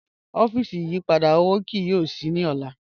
Ọfíísì ìyìpadà owó kìí yóò ṣíí ní ọlá